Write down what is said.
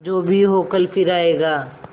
जो भी हो कल फिर आएगा